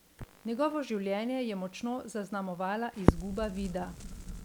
Njegovo življenje je močno zaznamovala izguba vida.